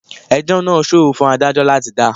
Ẹjọ́ náà ṣòro fún Ádájọ́ láti dá.